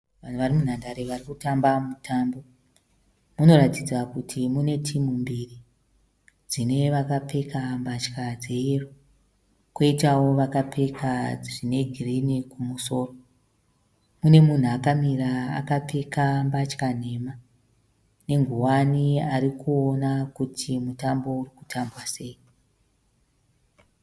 Vanhu vari munhandare varikutamba mutambo. Munoratidza kuti mune timu mbiri. Dzine vakapfeka mbatya dzeyero koitawo vakapfeka zvine girini kumusoro. Mune munhu akamira akapfeka mbatya nhema nenguwani arikuona kuti mutambo uri kutambwa sei.